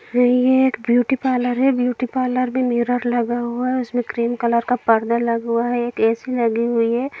यहां एक beauty parlour है ब्यूटी पार्लर एक मिरर लगा हुआ है या एक क्रीम कलर का पर्दा लगा हुआ है एक एसी लगी हुयी हैं।